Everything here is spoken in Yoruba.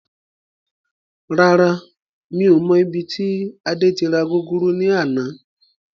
Rárá, mi ò mọ ibi tí Adé tí ra gúgúrú ni àná.